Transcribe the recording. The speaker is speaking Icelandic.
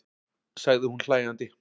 sagði hún hlæjandi.